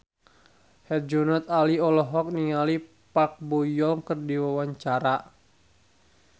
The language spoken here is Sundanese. Herjunot Ali olohok ningali Park Bo Yung keur diwawancara